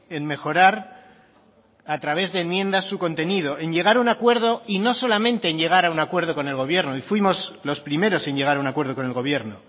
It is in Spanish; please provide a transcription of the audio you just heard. en mejorar a través de enmiendas su contenido en llegar a un acuerdo y no solamente en llegar a un acuerdo con el gobierno y fuimos los primeros en llegar a un acuerdo con el gobierno